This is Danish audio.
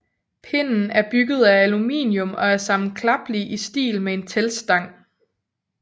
Pinden er bygget af aluminium og er sammenklappelig i stil med en teltstang